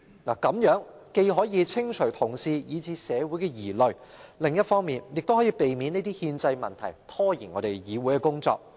如此一來，既可釋除同事以至社會的疑慮，亦可避免這類憲制問題拖延議會運作。